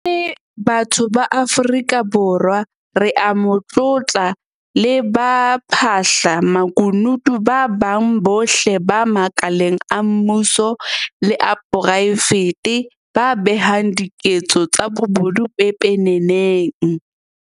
Re le batho ba Afrika Borwa re a mo tlotla le baphahla makunutu ba bang bohle ba makaleng a mmuso le a poraefete ba behang diketso tsa bobodu pepeneneng.